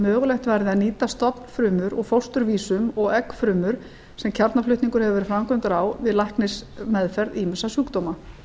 mögulegt verði að nýta stofnfrumur úr fósturvísum og eggfrumur sem kjarnaflutningur hefur verið framkvæmdur á við læknismeðferð ýmissa sjúkdóma